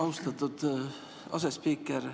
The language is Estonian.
Austatud asespiiker!